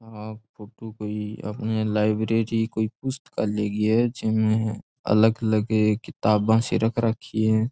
आ फोटू कोई अपने लाइब्रेरी कोई पुस्तकालय की है जिमे अलग अलग किताबा सी रख राखी है।